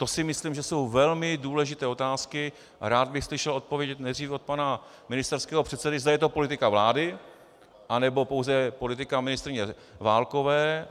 To si myslím, že jsou velmi důležité otázky, a rád bych slyšel odpověď nejdřív od pana ministerského předsedy, zda je to politika vlády, anebo pouze politika ministryně Válkové.